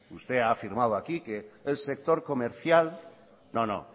usted ha afirmado aquí que el sector comercial no no